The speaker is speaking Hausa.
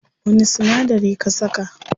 Wani sinadari ka saka?